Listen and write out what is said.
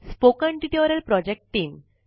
spoken tutorial project team